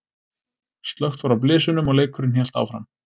Slökkt var á blysunum og leikurinn hélt áfram.